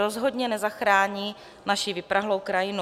Rozhodně nezachrání naši vyprahlou krajinu.